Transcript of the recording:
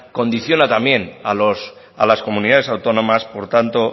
condiciona también a los a las comunidades autónomas por tanto